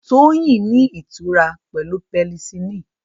Toyin ní ìtura pẹ̀lú penicillin